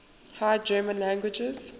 high german languages